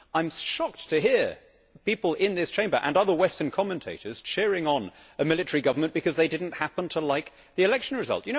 I am shocked to hear people in this Chamber, and other Western commentators, cheering on a military government because they did not happen to like the election result.